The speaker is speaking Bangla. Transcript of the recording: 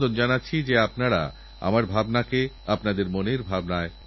আরেকসমস্যার প্রতি প্রিয় দেশবাসী আপনাদের দৃষ্টি আকর্ষণ করতে চাই